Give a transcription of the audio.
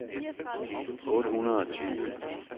otte hundrede og tyve